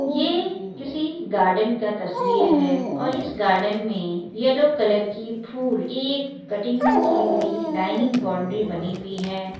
ये किसी गार्डन का तस्वीर है और इस गार्डन में येलो कलर की फूल एक कटिंग की हुई लाइनिंग बॉउंड्री बनी हुई है।